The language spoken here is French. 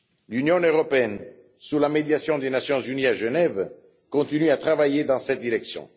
L'Union européenne, sous la médiation des Nations unies à Genève, continue à travailler dans cette direction.